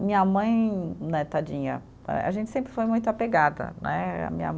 Minha mãe né, tadinha, eh a gente sempre foi muito apegada né, minha